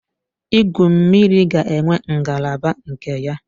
Igwu mmiri ga-enwe ngalaba nke ya